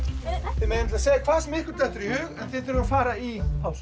þið megið segja hvað sem ykkur dettur í hug en þið þurfið að fara í pásu